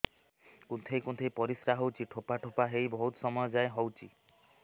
କୁନ୍ଥେଇ କୁନ୍ଥେଇ ପରିଶ୍ରା ହଉଛି ଠୋପା ଠୋପା ହେଇ ବହୁତ ସମୟ ଯାଏ ହଉଛି